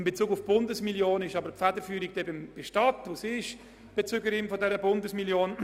In Bezug auf die Bundesmillion liegt die Federführung jedoch bei der Stadt, weil sie die Bezügerin derselben ist.